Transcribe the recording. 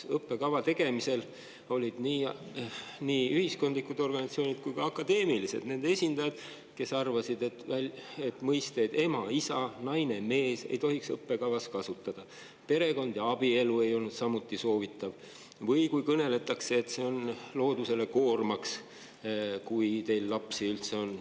Õppekava tegemise juures olid nii ühiskondlike kui ka akadeemiliste organisatsioonide esindajad, kes arvasid, et selliseid sõnu nagu "ema", "isa", "naine" ja "mees" ei tohiks õppekavas kasutada, "perekond" ja "abielu" ei olnud samuti soovitatavad, Või siis kõneldakse, et see on loodusele koormaks, kui teil üldse lapsed on.